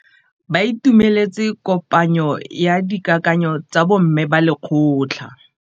Ba itumeletse kôpanyo ya dikakanyô tsa bo mme ba lekgotla.